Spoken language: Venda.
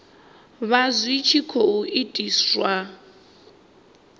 vha zwi tshi khou itiswa